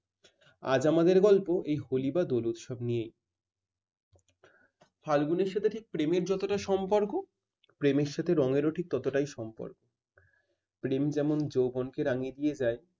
আজ আমাদের গল্প এই হলি বা দোল উৎসব নিয়েই। ফাল্গুনের সাথে ঠিক প্রেমের যতটা সম্পর্ক প্রেমের সাথে রঙেরও ঠিক ক ততটাই সম্পর্ক। প্রেম যেমন যৌবনকে রাঙিয়ে দিয়ে যায়